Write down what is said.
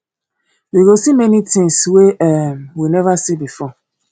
we go see many things wey um we never see before